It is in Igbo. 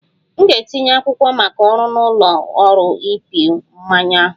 M ga-etinye akwụkwọ maka ọrụ na ụlọ ọrụ ịpị mmanya ahụ